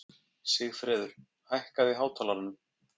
Sigfreður, hækkaðu í hátalaranum.